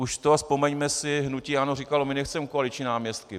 Už to - vzpomeňme si, hnutí ANO říkalo "my nechceme koaliční náměstky".